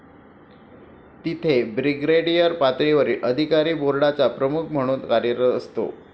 तिथे ब्रिगेडियर पातळीवरील अधिकारी बोर्डाचा प्रमुख म्हणून कार्यरत असतो.